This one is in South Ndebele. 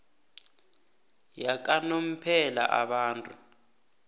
yakanomphela abantu